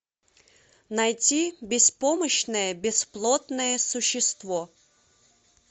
найти беспомощное бесплотное существо